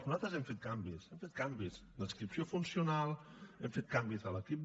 nosaltres hem fet canvis hem fet canvis d’adscripció funcional hem fet canvis en l’equip